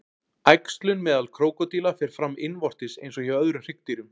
Æxlun meðal krókódíla fer fram innvortis eins og hjá öðrum hryggdýrum.